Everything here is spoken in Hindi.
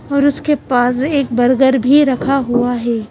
और उसके पास एक बर्गर भी रखा हुआ है।